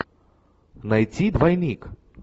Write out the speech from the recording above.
найти двойник